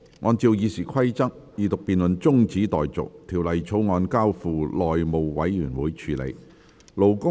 按照《議事規則》，二讀辯論中止待續，《條例草案》交付內務委員會處理。